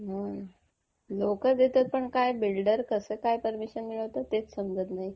हो. लोकं देतात पण बिल्डर कसं काय परमिशन मिळवतात तेच समजत नाही.